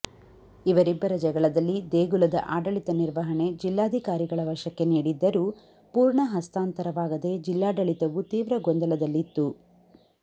ಇವರಿಬ್ಬರ ಜಗಳದಲ್ಲಿ ದೇಗುಲದ ಆಡಳಿತ ನಿರ್ವಹಣೆ ಜಿಲ್ಲಾಧಿಕಾರಿಗಳ ವಶಕ್ಕೆ ನೀಡಿದ್ದರೂ ಪೂರ್ಣ ಹಸ್ತಾಂತರವಾಗದೇ ಜಿಲ್ಲಾಡಳಿತವು ತೀವ್ರ ಗೊಂದಲದಲ್ಲಿತ್ತು